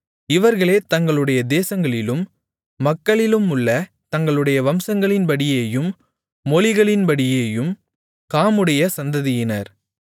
இவர்களே தங்களுடைய தேசங்களிலும் மக்களிலுமுள்ள தங்களுடைய வம்சங்களின்படியேயும் மொழிகளின்படியேயும் காமுடைய சந்ததியினர்